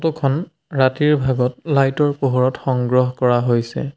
Photo খন ৰাতিৰ ভাগত লাইট ৰ পোহৰত সংগ্ৰহ কৰা হৈছে।